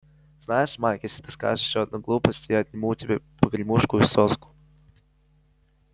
знаешь майк если ты скажешь ещё одну глупость я отниму у тебя погремушку и соску